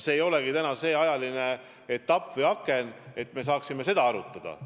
Täna ei ole käes aeg seda arutada.